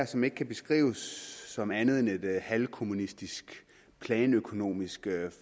som ikke kan beskrives som andet end et halvkommunistisk planøkonomisk